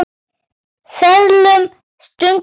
Seðlum stungið ofan í buddu.